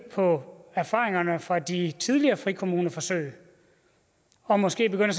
på erfaringerne fra de tidligere frikommuneforsøg og måske begynde